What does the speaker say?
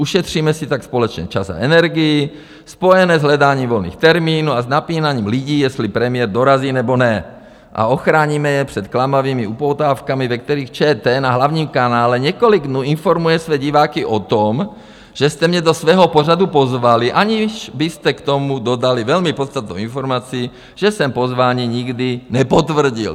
Ušetříme si tak společně čas a energii spojené s hledáním volných termínů a s napínáním lidí, jestli premiér dorazí, nebo ne, a ochráníme je před klamavými upoutávkami, ve kterých ČT na hlavním kanále několik dnů informuje své diváky o tom, že jste mě do svého pořadu pozvali, aniž byste k tomu dodali velmi podstatnou informaci, že jsem pozvání nikdy nepotvrdil.